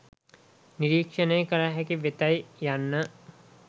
නිරීක්‍ෂණය කළ හැකි වෙතැයි යන්න